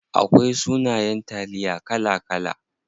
Akwai sunayen taliya kala kala.